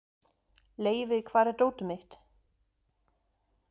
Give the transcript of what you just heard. Leivi, hvar er dótið mitt?